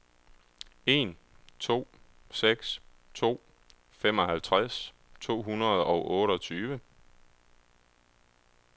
en to seks to femoghalvtreds to hundrede og otteogtyve